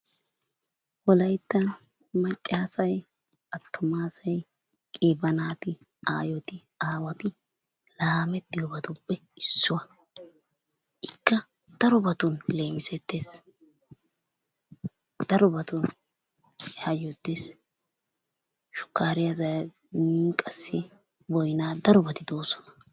Wolayttan macca asay, attuma asay, qiiba naati, aayoti, aawati laamettiyabatuppe issuwa. Ikka darobatun leemisettes. Darobatun hayyottes. Shukkaariya in qassi boyina darobati de'oosona.